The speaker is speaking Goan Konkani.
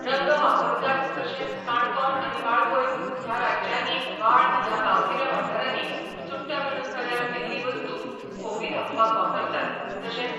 रंग वापरतात तशेंच काणकोण आनी वाळपय ह्या राज्यांनी वाळ ह्या गांवगिऱ्या वाठारांनी चुडटां विणुन तयार केल्ली वस्तू खोपी धांपपाक वापरतात तशेंच